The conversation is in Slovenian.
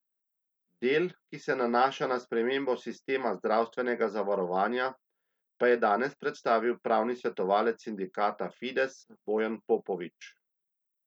Del, ki se nanaša na spremembo sistema zdravstvenega zavarovanja, pa je danes predstavil pravni svetovalec sindikata Fides Bojan Popovič.